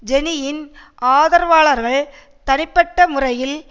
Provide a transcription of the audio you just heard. ஜெனியின் ஆதரவாளர்கள் தனிப்பட்ட முறையில்